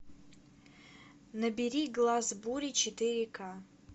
набери глаз бури четыре ка